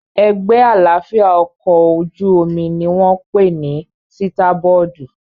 Ẹ̀gbẹ́ àlàáfíà ọkọ̀ ojú-omi ní wọ́n pè ní sítábọ́ọ̀dù